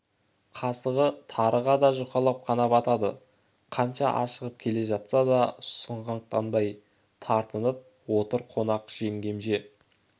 қасығы тарыға да жұқалап қана батады қанша ашығып келе жатса да сұғанақтанбай тартынып отыр қонақ жеңгем же